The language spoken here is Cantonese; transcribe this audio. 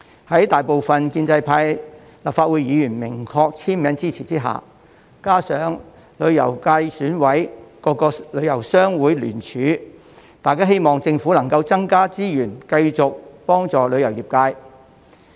在大部分建制派立法會議員明確簽名支持下，加上旅遊界選委各個旅遊商會聯署，大家希望政府能夠增加資源繼續幫助旅遊業界。